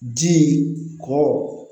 Ji kɔ